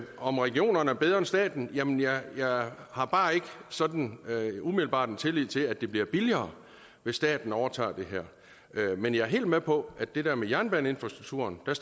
om regionerne er bedre end staten jamen jeg har bare ikke sådan umiddelbart tillid til at det bliver billigere hvis staten overtager det her men jeg er helt med på det der med jernbaneinfrastrukturen og